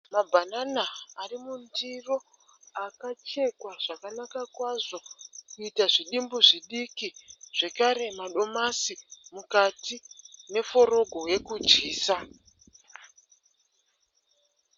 Mabhanana ari mundiro akachekwa zvakanaka kwazvo kuita zvidimbu zvidiki. Zvekare madomasi mukati neforogo yekudyisa.